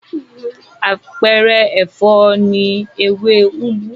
Àpẹẹrẹ ẹ̀fọ́ ni ewé úgú.